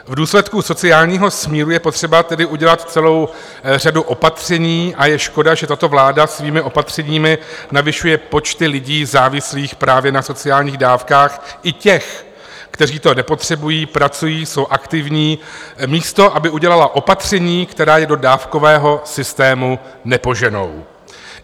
V důsledku sociálního smíru je potřeba tedy udělat celou řadu opatření a je škoda, že tato vláda svými opatřeními navyšuje počty lidí závislých právě na sociálních dávkách, i těch, kteří to nepotřebují, pracují, jsou aktivní, místo aby udělala opatření, která je do dávkového systému nepoženou.